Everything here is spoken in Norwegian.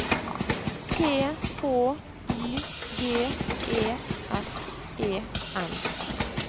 T H Y G E S E N